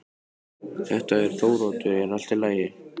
Þetta er Þóroddur, er allt í lagi?